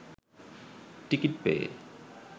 ticket পেয়ে